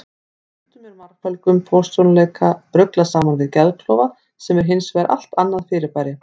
Stundum er margföldum persónuleika ruglað saman við geðklofa sem er hins vegar allt annað fyrirbæri.